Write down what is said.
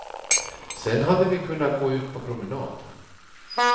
Sen hade vi kunnat gå ut på promenad.